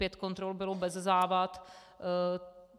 Pět kontrol bylo bez závad.